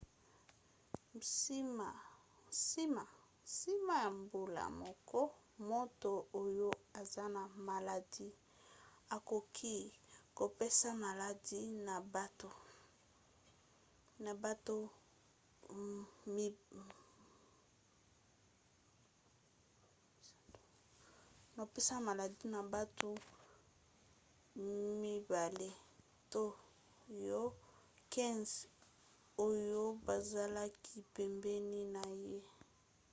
nsima ya mbula moko moto oyo aza na maladi akoki kopesa maladi na bato 10 to 15 oyo bazalaki pembeni na ye